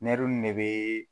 ne be